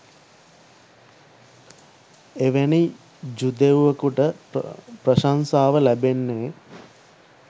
එවැනි ජුදෙව්වෙකුට ප්‍රශංසාව ලැබෙන්නේ